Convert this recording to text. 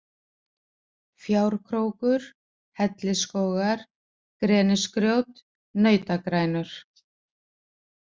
Fjárkrókur, Hellisskógar, Grenisgrjót, Nautagrænur